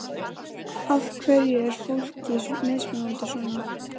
Af hverju er fólki mismunað svona?